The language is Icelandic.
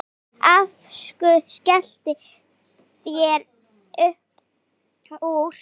Aftur skella þær upp úr.